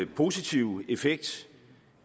positive effekt